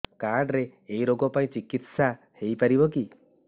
card ରେ ଏଇ ରୋଗ ପାଇଁ ଚିକିତ୍ସା ହେଇପାରିବ କି